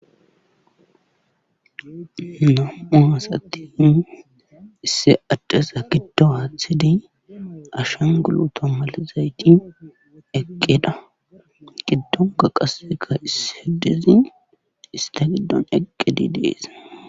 Nam7u asati issi addeza giddo aathid ashangguluuto malizayti eqqida giddnkka qasseka issi addezi istta giddon eqqidi dees.